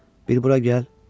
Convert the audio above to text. Bir bura gəl.